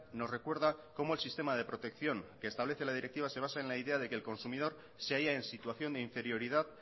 nos recuerda como el sistema de protección que establece la directiva se basa en la idea de que el consumidor se haya en situación de inferioridad